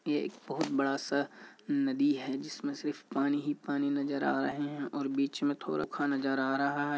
ये एक बहुत बड़ा-सा नदी है जिसमें सिर्फ पानी ही पानी नजर आ रहा है और बिच में थोडा खा नजर आ रहा है।